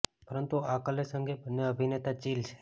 પરંતુ આ ક્લેશ અંગે બંને અભિનેતા ચિલ છે